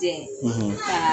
Tɲɛ; ; kaaa